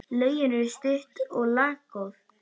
Lögin eru stutt og laggóð.